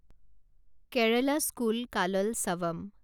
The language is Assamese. কেৰালা স্কুল কাললচাভাম